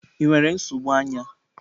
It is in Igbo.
Ị nwere nsogbu anya?